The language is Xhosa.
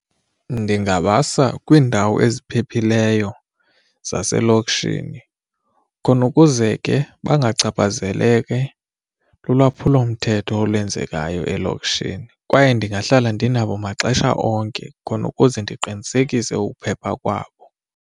Ndingabasa kwiindawo eziphephileyo zaselokishini khona ukuze ke bangachaphazeleki lulwaphulomthetho olwenzekayo elokishini kwaye ndingahlala ndinabo maxesha onke khona ukuze ndiqinisekise ukuphepha kwabo.